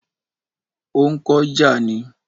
Ó ń kọ́ ìjà ni